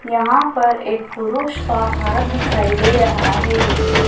यहां पर एक पुरुष का हाथ दिखाई दे रहा है।